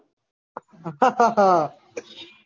અઆહા હા આહ